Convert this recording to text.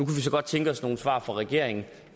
vi så godt tænke os nogle svar fra regeringen